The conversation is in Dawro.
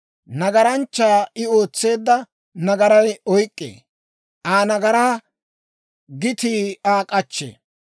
Nagaranchchaa I ootseedda nagaray oyk'k'ee. Aa nagaraa gitii Aa k'achchee.